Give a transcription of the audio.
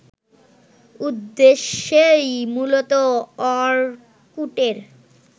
উদ্দেশ্যেই মূলত অর্কুটের